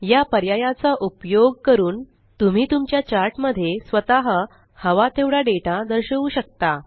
या पर्यायचा उपयोग करून तुम्ही तुमच्या चार्ट मध्ये स्वतः हवा तेवढा डेटा दर्शवू शकता